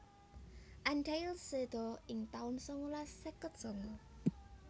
Antheil seda ing taun sangalas seket sanga